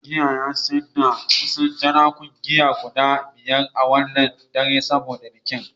Matasar giya ya sayar da kusan jerakuna giya guda biyar a wannan dare saboda bikin.